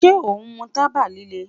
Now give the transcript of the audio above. Ṣe o mu taba lile?